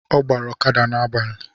Ọ ọgbara ọkada n’agbalị